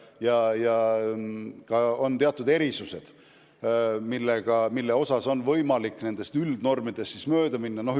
Ja on ka teatud erisused, mille osas on võimalik nendest üldnormidest mööda minna.